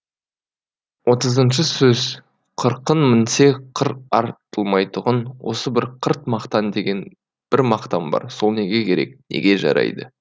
отызыншы сөз қырқын мінсе қыр артылмайтұғын осы бір қырт мақтан деген бір мақтан бар сол неге керек неге жарайды